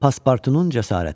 Pasportunun cəsarəti.